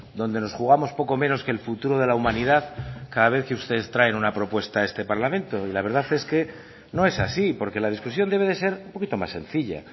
donde nos jugamos poco menos que el futuro de la humanidad cada vez que ustedes traen una propuesta a este parlamento y la verdad es que no es así porque la discusión debe de ser un poquito más sencilla a